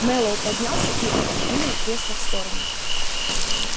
мэллоу поднялся и отодвинул кресло в сторону